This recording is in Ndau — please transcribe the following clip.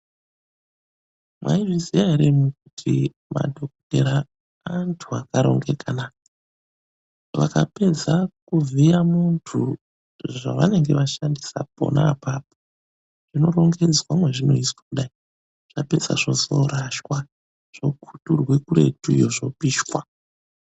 Maizviziwa ere kuti madhogodheya antu akarongeka. naa? Vakapedza kuvhiya muntu, zvava nenge vashandisa pona. apapo zvino rongedzwa mazvi noiswa kudai zvapedzwa zvozono rashwa zvoku turwe kuretuyo zvopishwa.